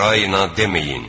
Raina deməyin!